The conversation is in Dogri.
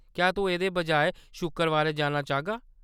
क्या तूं एह्‌‌‌दे बजाए शुक्करबारें जाना चाह्‌गा ?